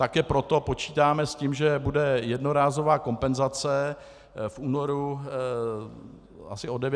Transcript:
Také proto počítáme s tím, že bude jednorázová kompenzace v únoru asi o 900 korun.